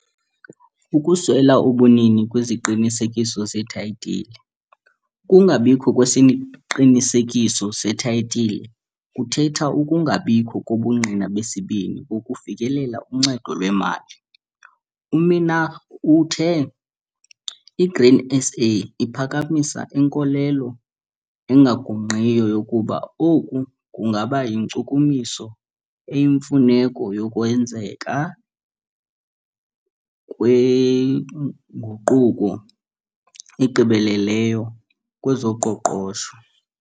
Ukuswela ubunini beziqinisekiso zeethayitile - ukungabikho kwesiqinisekiso sethayitile kuthetha ukungabikho kobungqina besibini bokufikelela kuncedo lwemali. UMinaar uthe iGrain SA iphakamisa inkolelo engagungqiyo yokuba oku kungaba yinkcukumiso eyimfuneko yokwenzeka kwenguquko egqibeleleyo kwezoqoqosho.